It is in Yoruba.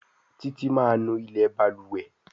Titi má nú ilé balùwẹ̀.